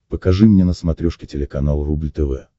покажи мне на смотрешке телеканал рубль тв